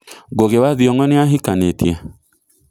Ngugi wa Thiongo nĩahĩkanĩtĩe?